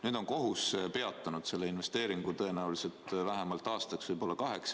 Nüüd on kohus peatanud selle investeeringu tõenäoliselt vähemalt aastaks või kaheks.